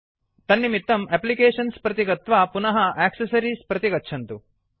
तन्निमित्तं एप्लिकेशन्स् प्रति गत्वा पुनः एक्सेसरीज़ प्रति गच्छतु